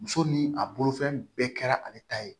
Muso ni a bolofɛn bɛɛ kɛra ale ta ye